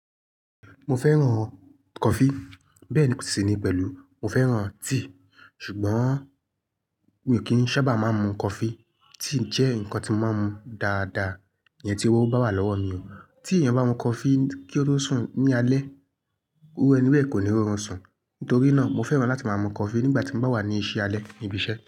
Mo fẹ́ràn coffee bẹ́ẹ̀ ni kò sì ní pẹ̀lú, mo fẹ́ràn tea. Ṣùgbọ́n mi kì í sábà máa ń mu coffee. Tea jẹ́ ǹkan tí mo máa ń mu dáadáa, yẹn tí owó bá wà lọ́wọ́ mi o. Tí èeyan bá mu coffee kí ó tó sùn ní alẹ́, iru ẹni bẹ́ẹ̀ kò ní rọrùn sùn. Nítorí náà mo fẹ́ràn láti máa mu coffee nígbà tí n bá wà ní ìṣí alẹ́, ni ibi iṣẹ́.